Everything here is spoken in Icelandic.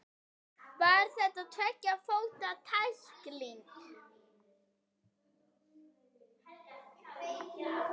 Var þetta tveggja fóta tækling?